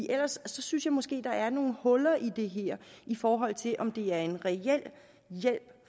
ellers synes jeg måske der er nogle huller i det her i forhold til om det er en reel hjælp